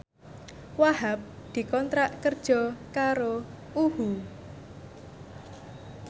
Wahhab dikontrak kerja karo UHU